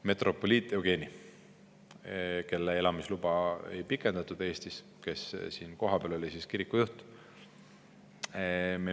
Metropoliit Jevgeni elamisluba Eestis ei pikendatud, tema oli siinne, kohapealne kirikujuht.